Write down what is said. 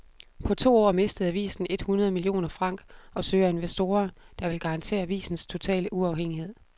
På to år mistede avisen et hundrede millioner franc og søger investorer, der vil garantere avisens totale uafhængighed.